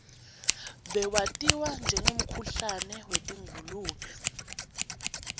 bewatiwa njengemkhuhlane wetingulube